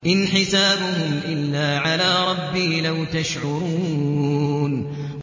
إِنْ حِسَابُهُمْ إِلَّا عَلَىٰ رَبِّي ۖ لَوْ تَشْعُرُونَ